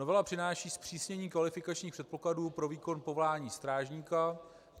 Novela přináší zpřísnění kvalifikačních předpokladů pro výkon povolání strážníka.